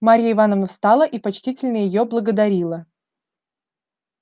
марья ивановна встала и почтительно её благодарила